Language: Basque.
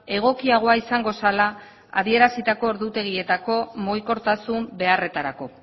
egokiagoa izango zela adierazitako ordutegietako mugikortasun beharretarako